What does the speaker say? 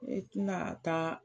E tɛna taa